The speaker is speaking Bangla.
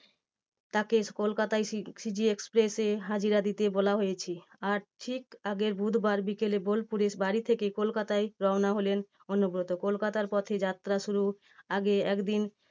তাকে কলকাতায় CG express এ হাজিরা দিতে বলা হয়েছে। আর ঠিক আগের বুধবার বিকেলে বোলপুরের বাড়ি থেকে কলকাতায় রওনা হলেন অনুব্রত। কলকাতার পথে যাত্রা শুরুর আগে একদিন